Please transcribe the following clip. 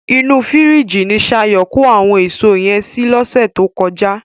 Inú fìríjìì ni Ṣayọ̀ kó àwọn èso yẹn sí lọ́sẹ̀ tó kọjá.